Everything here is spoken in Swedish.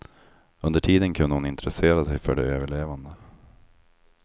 Under tiden kunde hon intressera sig för de överlevande.